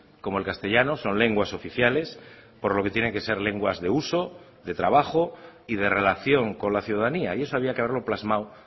como el castellano son lenguas oficiales por lo que tienen que ser lenguas de uso de trabajo y de relación con la ciudadanía y eso había que haberlo plasmado